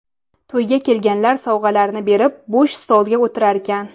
To‘yga kelganlar sovg‘alarini berib, bo‘sh stolga o‘tirarkan.